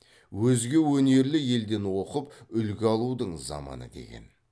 өзге өнерлі елден оқып үлгі алудың заманы деген